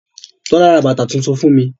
Tọ́lá ra bàtà tuntun fún mi.